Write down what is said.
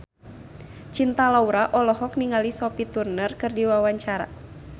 Cinta Laura olohok ningali Sophie Turner keur diwawancara